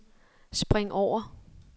spring over